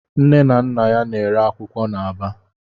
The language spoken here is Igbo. Nne na Nna ya na-ere akwụkwọ n'Aba.